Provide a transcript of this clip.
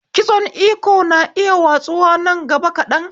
Kitson Iko na iya watsuwa nan gaba kaɗan